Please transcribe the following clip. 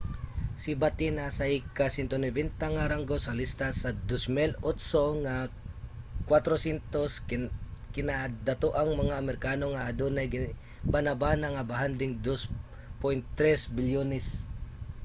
si batten naa sa ika-190 nga ranggo sa lista sa 2008 nga 400 kinadatoang mga amerikano nga adunay gibanabana nga bahanding $2.3 bilyon